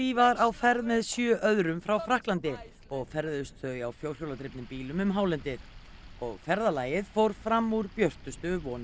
var á ferð með sjö öðrum frá Frakklandi og ferðuðust þau á fjórhjóladrifnum bílum um hálendið og ferðalagið fór fram úr björtustu vonum